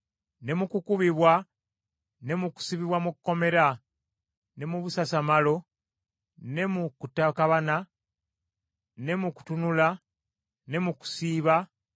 ne mu kukubibwa ne mu kusibibwa mu kkomera, ne mu busasamalo, ne mu kutakabana, ne mu kutunula, ne mu kusiiba,